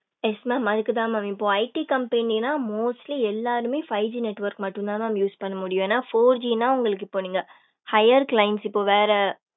yes mam அதுக்கு தான் mam இப்போ IT கம்பெனினா நான் mostly எல்லாருமே five G network மட்டும் தான் mam use பண்ண முடியும் என four G னா உங்களுக்கு இப்ப நீங்க higher clients இப்ப வேற